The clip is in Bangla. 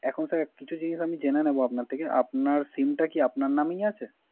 এখন স্যার কিছু জিনিস জেনে নেব আপনার থেকে। আপনার SIM টা কি আপনার নামেই আছে?